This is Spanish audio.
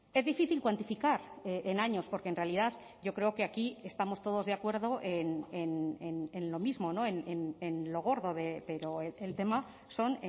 es difícil cuantificar en años porque en realidad yo creo que aquí estamos todos de acuerdo en lo mismo en lo gordo pero el tema son